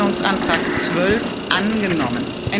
Änderungsantrag 12 angenommen